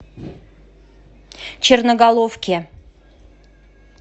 черноголовке